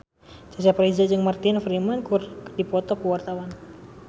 Cecep Reza jeung Martin Freeman keur dipoto ku wartawan